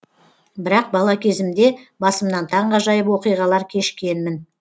бірақ бала кезімде басымнан таңғажайып оқиғалар кешкенмін